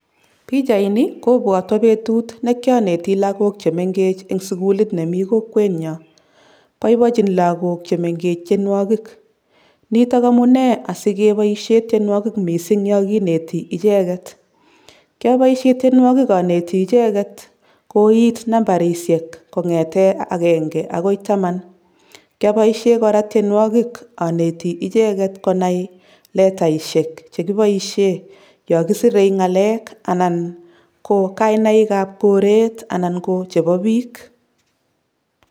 Pichaini kobwotwo betut ne kyoneti lagok che mengech eng sukulit ne mi kokwenyo, boibochin lagok che mengech tienwogik, nitok amune asikeboisie tienwogik mising yo kineti icheket, kyoboisie tienwogik aneti icheket koit nambarisiek kongete akenge akoi taman, kyoboisie kora tienwogik aneti icheket konai letaisiek chekiboisie yo kisire ngalek anan ko kainaikab goret anan ko chebo piik.